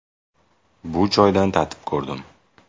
Bu choydan tatib ham ko‘rdim.